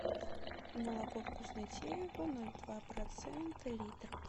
молоко вкуснотеево ноль два процента литр